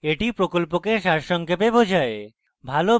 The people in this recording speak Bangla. এটি প্রকল্পকে সারসংক্ষেপে বোঝায়